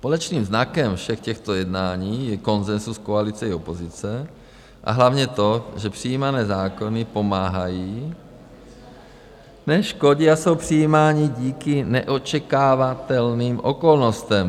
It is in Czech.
Společným znakem všech těchto jednání je konsenzus koalice i opozice a hlavně to, že přijímané zákony pomáhají, neškodí a jsou přijímány díky neočekávatelným okolnostem.